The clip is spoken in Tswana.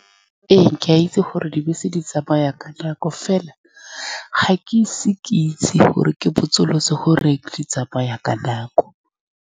Ee, ke a itse gore dibese di tsamaya ka nako, fela ga ke ise ke itse gore ke botsolotse gore di tsamaya ka nako.